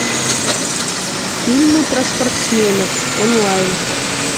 фильмы про спортсменов онлайн